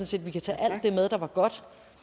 set vi kan tage alt det med der var godt